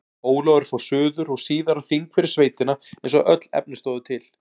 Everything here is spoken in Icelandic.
Ólafur fór suður og síðar á þing fyrir sveitina eins og öll efni stóðu til.